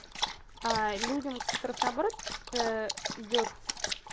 людям которых наоборот идёт с